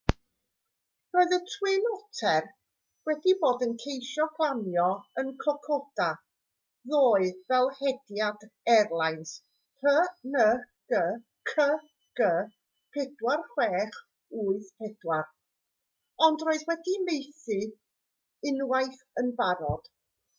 roedd y twin otter wedi bod yn ceisio glanio yn kokoda ddoe fel hediad airlines png cg4684 ond roedd wedi methu unwaith yn barod